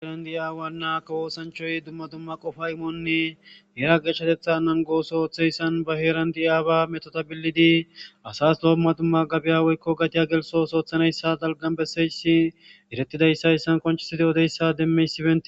Heerandi aawa naakko woosanchoy dumma dumma qofo imonni eera gechatetha nan gooso ooththeyssan ba heeran di aaba metota billidi asas lo dumma dumma gabiyaweykko gatiya gelsos oothanayssa dalgan besseyssi erettidayssayssan konchiside odeyssa demmeysipe..